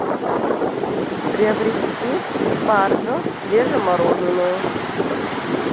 приобрести спаржу свежемороженную